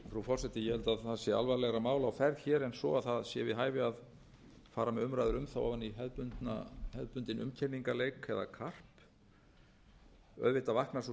það sé við hæfi að fara með umræður um það o að í hefðbundinn umkenningaleik eða karp auðvitað vaknar sú